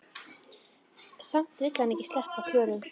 Samt vill hann ekki sleppa Klöru.